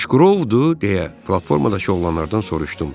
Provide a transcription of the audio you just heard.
Aşqırovdu, deyə platformadakı oğlanlardan soruşdum.